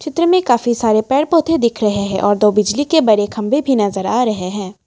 चित्र में काफी सारे पेड़ पौधे देख रहे हैं और दो बिजली के बड़े खंभे भी नजर आ रहे हैं ।